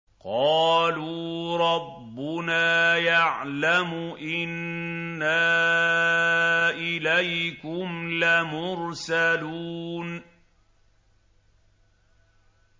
قَالُوا رَبُّنَا يَعْلَمُ إِنَّا إِلَيْكُمْ لَمُرْسَلُونَ